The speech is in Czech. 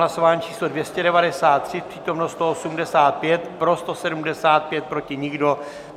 Hlasování číslo 293, přítomno 185, pro 175, proti nikdo.